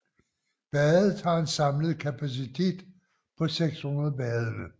Badet har en samlet kapacitet på 600 badende